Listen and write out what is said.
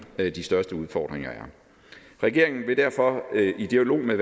de største udfordringer er regeringen vil derfor i dialog med